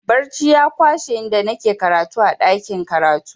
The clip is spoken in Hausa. Barci ya kwashe da nike karatu a ɗakin karatu.